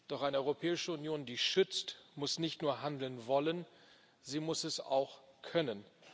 Doch eine Europäische Union, die schützt, muss nicht nur handeln wollen, sie muss es auch können.